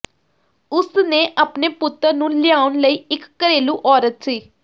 ਉਸ ਨੇ ਆਪਣੇ ਪੁੱਤਰ ਨੂੰ ਲਿਆਉਣ ਲਈ ਇੱਕ ਘਰੇਲੂ ਔਰਤ ਸੀ